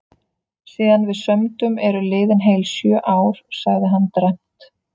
Síðan við sömdum eru liðin heil sjö ár, sagði hann dræmt.